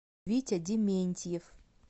витя дементьев